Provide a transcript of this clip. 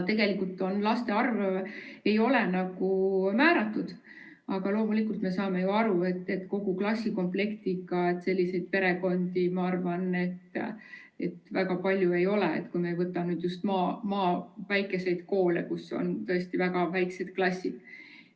Tegelikult laste arv ei ole määratud, aga loomulikult me saame ju aru, et kogu klassi jagu lapsi perekonnas, ma arvan, et selliseid peresid väga palju ei ole, kui me ei võta just väikseid maakoole, kus on tõesti väga väiksed klassid.